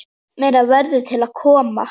Meira verður til að koma.